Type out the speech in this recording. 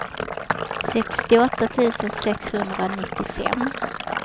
sextioåtta tusen sexhundranittiofem